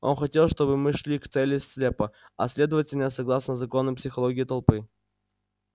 он хотел чтобы мы шли к цели слепо а следовательно согласно законам психологии толпы